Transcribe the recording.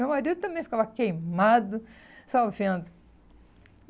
Meu marido também ficava queimado só vendo.